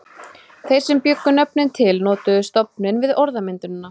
Þeir sem bjuggu nöfnin til notuðu stofninn við orðmyndunina.